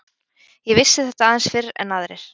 Ég vissi þetta aðeins fyrr en aðrir.